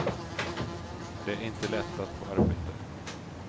Det är inte lätt att få arbete.